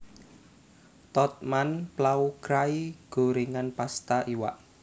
Tod man pla krai gorèngan pasta iwak